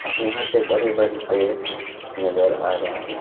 यहां पे बड़े बड़े पेड़ नजर आ रहे हैं।